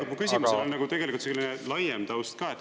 Mu küsimusel on tegelikult selline laiem taust ka.